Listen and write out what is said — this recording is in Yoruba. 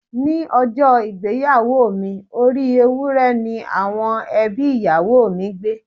Ní ọjọ́ ìgbéyàwó mi, orí Ewúré ni àwọn ẹbí ìyàwó mi gbẹ́.